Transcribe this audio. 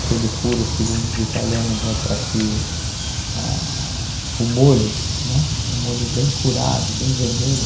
Aquele furo, segundo os italianos, é para que ah o molho, né, o molho bem curado, bem vermelho,